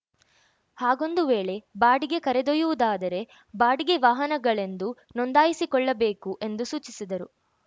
ಹಾಗೊಂದು ವೇಳೆ ಬಾಡಿಗೆ ಕರೆದೊಯ್ಯುವುದಾದರೆ ಬಾಡಿಗೆ ವಾಹನಗಳೆಂದು ನೊಂದಾಯಿಸಿಕೊಳ್ಳಬೇಕು ಎಂದು ಸೂಚಿಸಿದರು